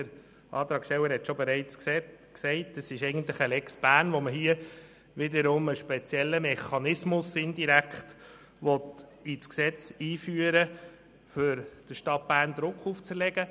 Wie der Antragsteller bereits gesagt hat, ist es eigentlich eine Lex Bern, mit der man indirekt einen speziellen Mechanismus ins Gesetz aufnehmen will, um Druck auf die Stadt Bern auszuüben.